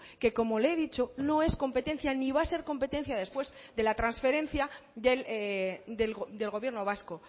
que como le he dicho no es competencia ni va a ser competencia después de la transferencia del gobierno vasco